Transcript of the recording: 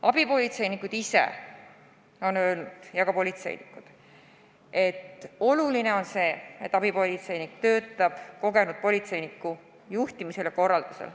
Abipolitseinikud ise ja ka politseinikud on öelnud, et oluline on see, et abipolitseinik töötaks kogenud politseiniku juhtimisel ja korraldusel.